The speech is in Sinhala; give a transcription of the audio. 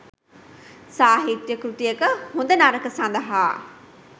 සාහිත්‍ය කෘතියක හොඳ නරක සඳහා